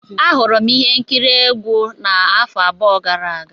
Ahụrụ m ihe nkiri egwu afọ abụọ gara aga.